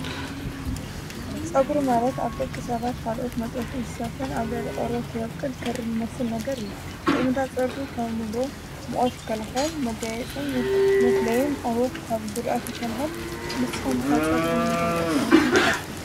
ፀጕሪ ማለት ኣብ ደቂ ሰባት ኻልኦት መጥበውቲ እንሳትን ኣብ ቆርቦት ዝቦቁል ክር ልመስል ነገር እዩ፡፡ ጥቕሚታት ጸጕሪ ካብ አንብሎ ሙቐት የከላኸል መጋይፅን ብፍለይም ካብ ጕድኣት ይከላኸል፡፡ ንስኹም ኸ ፀጉሪ ንምንታይ ይጠቕም ኢልኩም ትሓስቡ?